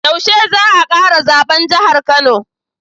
Yaushe za a kara zaben jahar kano